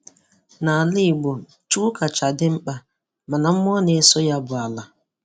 N'ala Igbo Chukwu kacha dị mkpa, mana mmụọ na-eso ya bụ Ala.